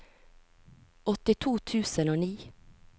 åttito tusen og ni